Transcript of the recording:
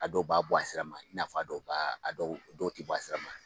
A dɔw b'a bɔ a sira ma i n'a fɔ a dɔw b'a a dɔw tɛ bɔ a sira ma